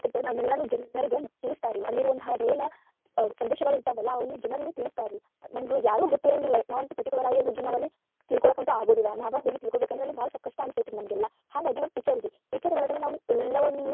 ಪದ್ದತಿಗಳನ್ನ ಜನರಿಗ ತಿಳಸತಾರ ಅಲ್ಲಿದ ಒಂದ ಏನ ಸಂದೇಶಗಳಿರ್ತವಲ್ಲ ಅವನ್ನ ಜನರಿಗ ತಿಳಸತಾರರೀ ನಮಗ ಯಾರಿಗೂ ಗೊತ್ತಿರಂಗಿಲ್ಲಾ ನಾವ ಅಂತೂ particular ಆಗಿ ಹೋಗಿ ತಿಳ್ಕೊಳಕಂತು ಆಗುದಿಲ್ಲಾ ನಾವ ಹೋಗಿ ತಿಳ್ಕೊಬೇಕಂದ್ರ ಬಾಳ ಸ್ವಲ್ಪ ಕಷ್ಟ ಅನಸ್ತೇತಾರಿ ನಮಗ ಎಲ್ಲಾ ಹಾಂಗಾಗಿ ಒಂದ picture ಐತಿ picture ಒಳಗ ನಾವು ಎಲ್ಲವನ್ನು.